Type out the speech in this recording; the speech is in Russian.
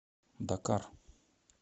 дакар